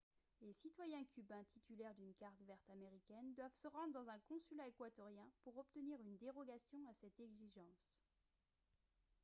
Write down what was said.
les citoyens cubains titulaires d'une carte verte américaine doivent se rendre dans un consulat équatorien pour obtenir une dérogation à cette exigence